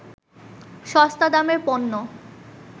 সস্তা দামের পণ্য